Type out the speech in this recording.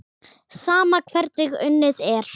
Sama hvernig unnið er.